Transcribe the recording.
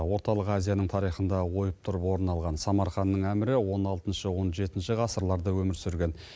орталық азияның тарихында ойып тұрып орын алған самарханның әмірі он алтыншы он жетінші ғасырларда өмір сүрген